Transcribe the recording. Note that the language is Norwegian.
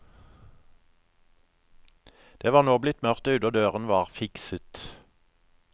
Det var nå blitt mørkt ute og døren var fikset.